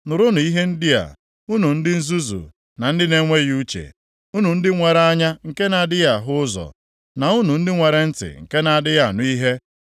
Nụrụnụ ihe ndị a, unu ndị nzuzu na ndị na-enweghị uche, unu ndị nwere anya nke na-adịghị ahụ ụzọ, na unu ndị nwere ntị nke na-adịghị anụ ihe.